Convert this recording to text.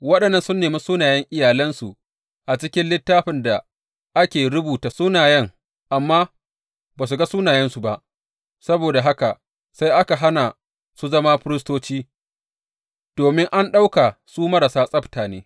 Waɗannan sun nemi sunayen iyalansu a cikin littafin da ake rubuta sunayen amma ba su ga sunayensu ba, saboda haka sai aka hana su zama firistoci domin an ɗauka su marasa tsabta ne.